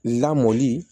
Lamɔli